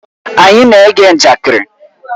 Anyị na-ege njakịrị.